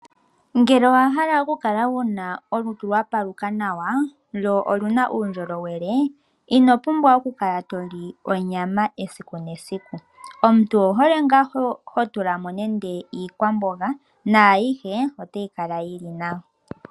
Ngele owahala okukala wuna olutu lwa paluka nawa lwo oluna uundjolowele ino pumbwa okukala toli onyama esiku nesiku. Omuntu owuhole hotula mo nande iikwamboga na ayihe otayi kala yili nawa.